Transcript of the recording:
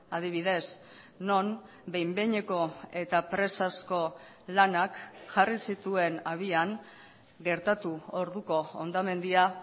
adibidez non behin behineko eta presazko lanak jarri zituen abian gertatu orduko hondamendia